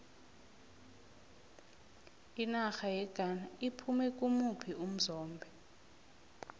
inarha yeghana iphume kimuphi umzombe